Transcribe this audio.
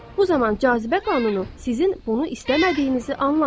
Bu zaman cazibə qanunu sizin bunu istəmədiyinizi anlamır.